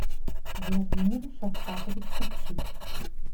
владимир шавкатович купчик